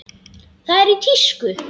Það er í tísku.